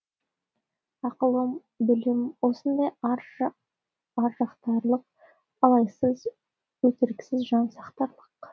ақыл білім осындай ар жақтарлық айласыз өтіріксіз жан сақтарлық